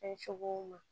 Kɛ cogow ma